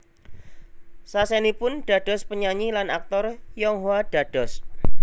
Sasenipun dados penyanyi lan aktor Yonghwa dados